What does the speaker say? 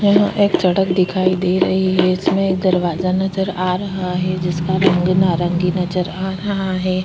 यहाँ एक चड़क दिखाई दे रही है इसमें एक दरवाजा नज़र आ रहा है जिसका रंग नारंगी नज़र आ रहा हैं ।